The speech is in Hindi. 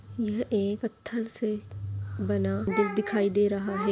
यहां एक थ्री सेड बना दिख दिखाई दे रहा है।